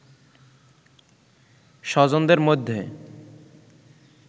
স্বজনদের মধ্যে